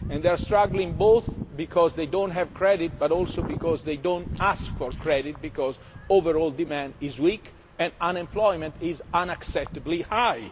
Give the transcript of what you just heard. They are struggling both because they do not have credit, but also because they do not ask for credit, because overall demand is weak and unemployment is unacceptably high.